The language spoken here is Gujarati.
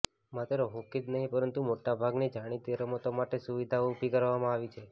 માત્ર હોકી જ નહીં પરંતુ મોટાભાગની જાણીતી રમતો માટે સુવિધાઓ ઉભી કરવામાં આવી છે